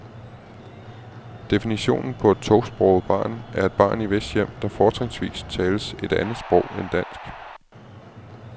Definitionen på et tosproget barn er et barn i hvis hjem, der fortrinsvis tales et andet sprog end dansk.